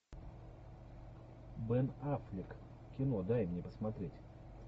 бен аффлек кино дай мне посмотреть